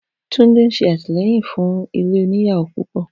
Tunde ń ṣe àtìlẹ́yìn fún ilé oníyàwó púpọ̀.